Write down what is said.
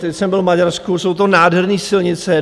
Teď jsem byl v Maďarsku, jsou to nádherné silnice.